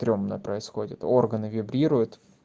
стремно происходит органы вибрирует